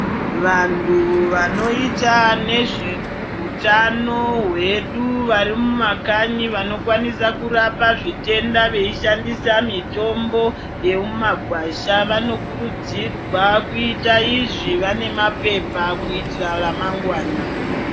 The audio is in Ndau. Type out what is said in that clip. Vantu vanoita nezveutano hwedu vari mumakanyi vanokwanisa kurapa zvitenda vei shandisa mitombo yemumagwasha. Vanokurudzirwa kuita izvi vane mapepa kuitira ramangwana.